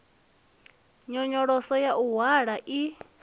nyonyoloso ya u hwala i